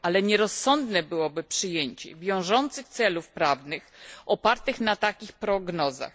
ale nierozsądne byłoby przyjęcie wiążących celów prawnych opartych na takich prognozach.